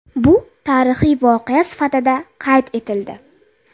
Bu tarixiy voqea sifatida qayd etildi.